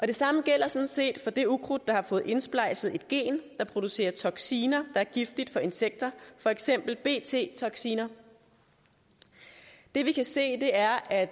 det samme gælder sådan set for det ukrudt der har fået indsplejset et gen der producerer toxiner er giftige for insekter for eksempel bt toxiner det vi kan se er at